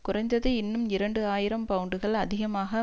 குறைந்தது இன்னும் இரண்டு ஆயிரம் பவுண்டுகள் அதிகமாக